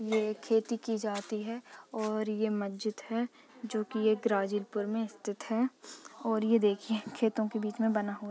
ये खेती की जाती है और ये एक मजीद है जो कि ये ग्रजीपुर में स्थित है ये देखिये खेतो के बीच में बना हुआ है।